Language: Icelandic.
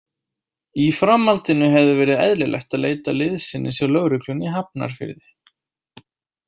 Í framhaldinu hefði verið eðlilegt að leita liðsinnis hjá lögreglunni í Hafnarfirði.